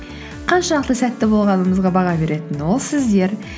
қаншалықты сәтті болғанымызға баға беретін ол сіздер